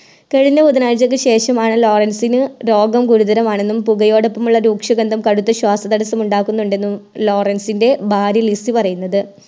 കഴിഞ്ഞ ബുധനായ്ച്ചക്ക് ശേഷമാണ് ലോറൻസിന് രോഗം ഗുരുതരമാണെന്നും പുകയോടൊപ്പമുള്ള രൂക്ഷ ഗന്ധം കടുത്ത ശ്വാസതടസ്സം ഉണ്ടാക്കുന്നുണ്ടെന്നും ലോറൻസിൻറെ ഭാര്യ ലിസി പറയുന്നത്